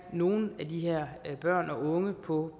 nogle af de her børn og unge på